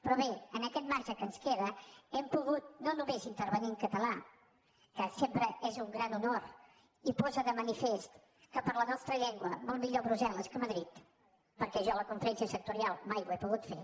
però bé amb aquest marge que ens queda hem pogut no només intervenir en català que sempre és un gran honor i posa de manifest que per a la nostra llengua molt millor brusselferència sectorial mai ho he pogut fer